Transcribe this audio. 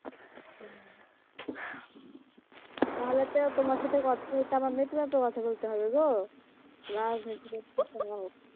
তাহলে তো তোমার সাথে কথা বলতে আমায় মেপে মেপে কথা বলতে হবে গো রাজনীতি .